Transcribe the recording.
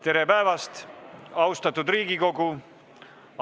Tere päevast, austatud Riigikogu!